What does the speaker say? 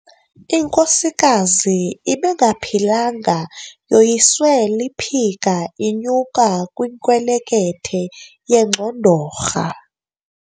Inkosikazi ebingaphilanga yoyiswe liphika inyuka kwinkelekethe yengxondorha.